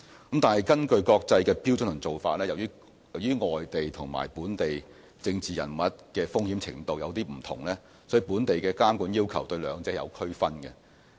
不過，根據國際標準和做法，由於外地和本地政治人物的風險程度不同，所以本地的監管要求對兩者也有區分。